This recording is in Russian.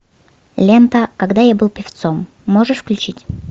лента когда я был певцом можешь включить